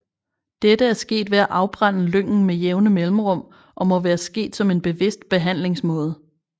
Dette er sket ved at afbrænde lyngen med jævne mellemrum og må være sket som en bevidst behandlingsmåde